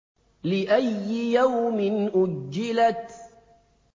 لِأَيِّ يَوْمٍ أُجِّلَتْ